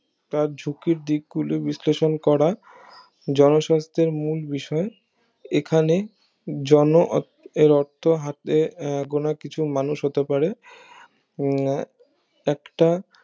তা ঝুঁকির দিক গুলি বিশ্লেষণ করা জনস্বার্থের মূল বিষয় এখানে জন অর্থ হাতে গোনা কিছু মানুষ হতে পারে আহ একটা